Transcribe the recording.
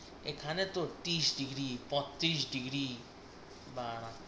এখানে তোর ত্রিশ ডিগ্রি বত্রিশ ডিগ্রি বাঁড়া